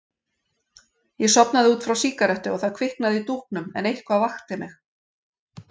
Ég sofnaði út frá sígarettu og það kviknaði í dúknum en eitthvað vakti mig.